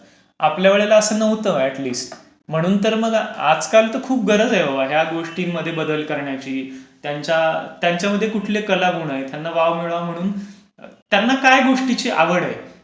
आपल्या वेळेला असं नव्हतं. अॅट लीस्ट म्हणून तर आजकाल खूप गरज आहे हो ह्या सगळ्या गोष्टींमध्ये बदल करण्याची. त्यांच्यामध्ये कुठले कला गुण आहेत त्यांना वाव मिळवा म्हणून त्यांना काय गोष्टीची आवड आहे, याच्याकडे लक्ष देण्याची जास्त गरज आहे.